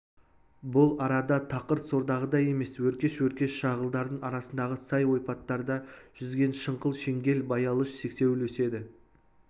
бұл арада тақыр сордағыдай емес өркеш-өркеш шағылдардың арасындағы сай ойпаттарда жүзген жыңғыл шеңгел баялыш сексеуіл өседі